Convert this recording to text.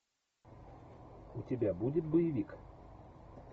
у тебя будет боевик